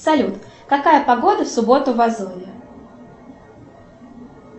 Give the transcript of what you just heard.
салют какая погода в субботу в азове